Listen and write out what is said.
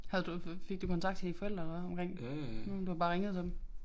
Havde du fået fik du kontakt til dine forældre eller hvad omkring hm du har bare ringet til dem